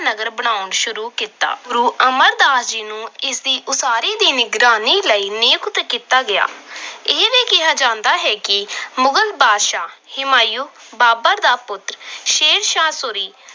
ਨਗਰ ਬਣਾਉਣਾ ਸ਼ੁਰੂ ਕੀਤਾ। ਗੁਰੂ ਅਮਰਦਾਸ ਜੀ ਨੂੰ ਇਸ ਦੀ ਉਸਾਰੀ ਦੀ ਨਿਗਰਾਨੀ ਲਈ ਨਿਯੁਕਤ ਕੀਤਾ ਗਿਆ। ਇਹ ਵੀ ਕਿਹਾ ਜਾਂਦਾ ਹੈ ਕਿ ਮੋਹਨ ਬਾਦਸ਼ਾਹ ਹਿਮਾਯੂ, ਬਾਬਰ ਦਾ ਪੁੱਤਰ ਸ਼ੇਰਸ਼ਾਹ ਸੂਰੀ